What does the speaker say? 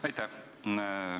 Aitäh!